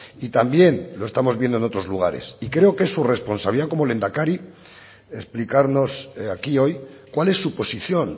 y también lo estamos viendo en otros lugares y creo que es su responsabilidad como lehendakari explicarnos aquí hoy cuál es su posición